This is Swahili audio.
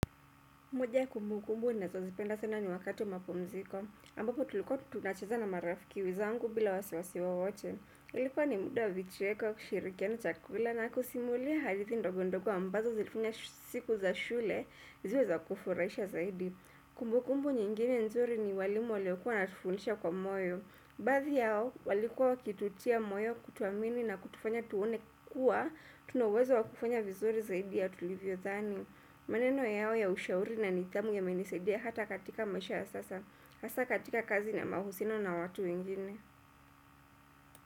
Moja ya kumbukumbu ninazozipenda sana ni wakati wa mapumziko ambapo tulikuwa tunacheza na marafiki zangu bila wasiwasi wowote. Ilikuwa ni muda wa vicheko kushirikiana chakula na kusimulia hadithi ndogondogo ambazo zilifanya siku za shule ziwe za kufurahisha zaidi. Kumbukumbu nyingine nzuri ni walimu waliokuwa wanatufundisha kwa moyo. Baadhi yao walikuwa wakitutia moyo, kutuamini na kutufanya tuone kuwa. Tuna uwezo wa kufanya vizuri zaidi ya tulivyodhani. Maneno yao ya ushauri na nithamu yamenisaidia hata katika maisha ya sasa hasa katika kazi na mahusiano na watu ingine.